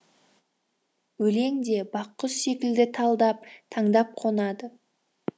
өлең де бақ құс секілді талдап таңдап қонады